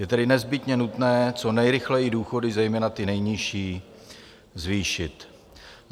Je tedy nezbytně nutné co nejrychleji důchody, zejména ty nejnižší, zvýšit.